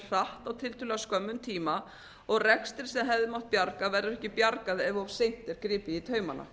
hratt á tiltölulega skömmum tíma og rekstri sem hefði mátt bjarga verður ekki bjargað ef of seint er gripið í taumana